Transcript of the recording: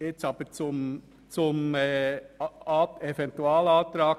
Und nun komme ich noch einmal zum Eventualantrag.